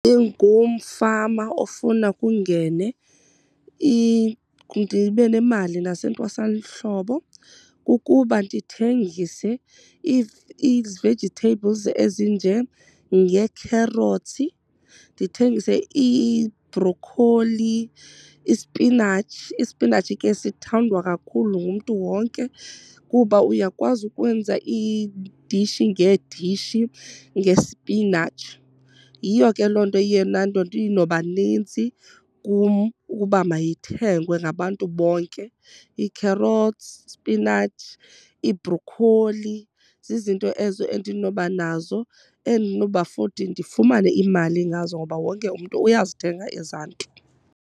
Njengomfama ofuna kungene ndibe nemali nasentwasahlobo kukuba ndithengise ii-vegetables ezinjengee-carrots, ndithengise iibrokholi, isipinatshi. Ispinatshi ke sithandwa kakhulu ngumntu wonke kuba uyakwazi ukwenza iidishi ngeedishi ngespinatshi. Yiyo ke loo nto iye laa nto inoba nintsi kum ukuba mayithengwe ngabantu bonke. Ii-carrots, isipinatshi, ibrokholi zizinto ezo endinoba nazo endinoba futhi ndifumane imali ngazo ngoba wonke umntu uyazithenga ezaa nto.